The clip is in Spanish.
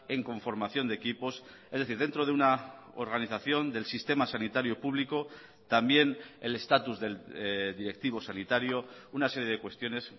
en conformación de equipos es decir dentro de una organización del sistema sanitario público también el estatus del directivo sanitario una serie de cuestiones